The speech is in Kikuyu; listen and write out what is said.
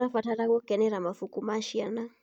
Tũrabatara gũkenera mabuku ma ciana.